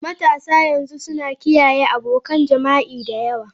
Matasa yanzu suna kiyaye abokan jima'i da yawa.